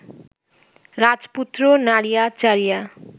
রাজপুত্র নাড়িয়া চাড়িয়া